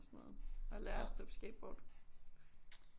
Og sådan noget og lære at stå på skateboard